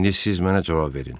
İndi siz mənə cavab verin.